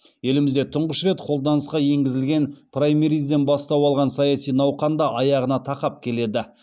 елімізде тұңғыш рет қолданысқа енгізілген праймеризден бастау алған саяси науқан да аяғына тақап келеді